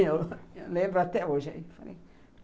Eu lembro até hoje. Eu falei